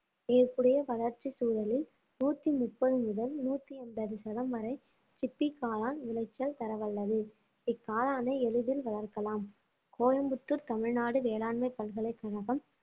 ஏற்புடைய வளர்ச்சி சூழலில் நூத்தி முப்பது முதல் நூத்தி எண்பது சதம் வரை சிப்பி காளான் விளைச்சல் தரவல்லது இக்காளானை எளிதில் வளர்க்கலாம் கோயம்புத்தூர் தமிழ்நாடு வேளாண்மை பல்கலைக்கழகம்